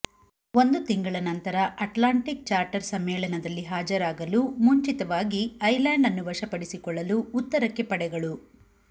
ಒಂದು ತಿಂಗಳ ನಂತರ ಅಟ್ಲಾಂಟಿಕ್ ಚಾರ್ಟರ್ ಸಮ್ಮೇಳನದಲ್ಲಿ ಹಾಜರಾಗಲು ಮುಂಚಿತವಾಗಿ ಐಸ್ಲ್ಯಾಂಡ್ ಅನ್ನು ವಶಪಡಿಸಿಕೊಳ್ಳಲು ಉತ್ತರಕ್ಕೆ ಪಡೆಗಳು